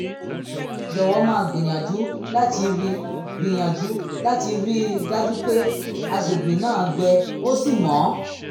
jọ̀wọ́ máa gbìyànjú láti rí gbìyànjú láti rí i dájú pé àgbègbè náà gbẹ ó sì mọ́